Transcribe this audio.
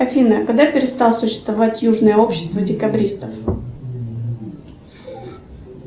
афина когда перестало существовать южное общество декабристов